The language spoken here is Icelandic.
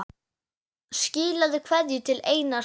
Skilaðu kveðju til Einars Más.